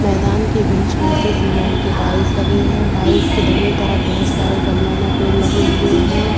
मैदान के बीच में से सीमेंट के टाइल्स लगे हैं। टाइल्स के दोनों तरफ बहोत सारे गमलों में पेड़ लगे हुए हैं।